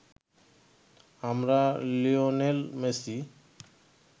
আমরা Lionel Messi